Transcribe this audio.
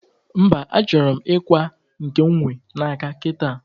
mba, achoro m ikwa nke m nwe n'aka kita